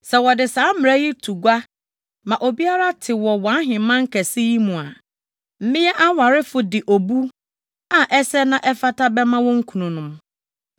Sɛ wɔde saa mmara yi to gua ma obiara te wɔ wʼaheman kɛse yi mu a, mmea awarefo de obu a ɛsɛ na ɛfata bɛma wɔn kununom.”